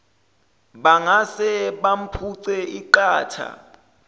bangase bamphuce iqatha